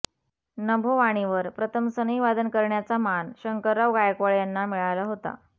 नभोवाणीवर प्रथम सनईवादन करण्याचा मान शंकरराव गायकवाड यांना मिळाला होता